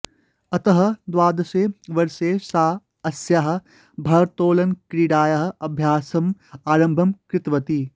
अतः द्वादशे वर्षे सा अस्याः भारोत्तोलनक्रीडायाः अभ्यासं आरम्भं कृतवती